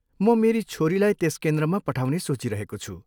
म मेरी छोरीलाई त्यस केन्द्रमा पठाउने सोचिरहेको छु।